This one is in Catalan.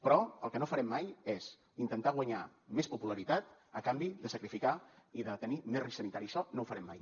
però el que no farem mai és intentar guanyar més popularitat a canvi de sacrificar i de tenir més risc sanitari això no ho farem mai